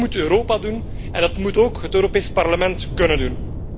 Dat moet Europa doen en dat moet ook het Europees Parlement kunnen doen.